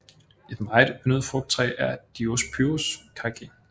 Et meget yndet frugttræ er Diospyros kaki